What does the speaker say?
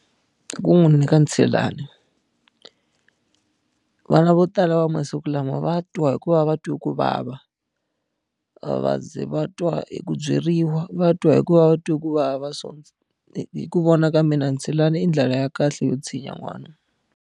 Ku n'wi nyika ntshilani. Vana vo tala va masiku lama va twa hi ku va va twa ku vava. A va ze va twa hi ku byeriwa, va twa hi ku va va twa ku vava so, hi ku vona ka mina ntshilani i ndlela ya kahle yo tshinya n'wana.